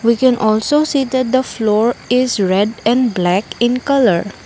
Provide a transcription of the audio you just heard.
we can also see that the floor is red and black in colour.